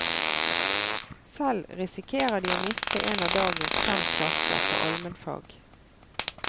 Selv risikerer de å miste en av dagens fem klasser på almenfag.